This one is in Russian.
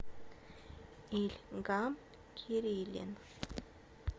ильгам кирилин